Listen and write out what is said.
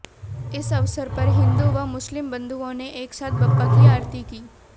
इस अवसर पर हिंदू व मुस्लिम बंधुओं ने एक साथ बप्पा की आरती की